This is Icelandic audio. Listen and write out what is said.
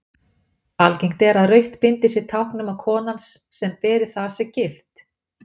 Algengt er að rautt bindi sé tákn um að konan sem beri það sé gift.